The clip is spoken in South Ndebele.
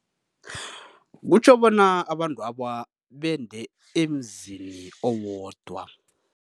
Kutjho bona abantwaba bende emzini owodwa.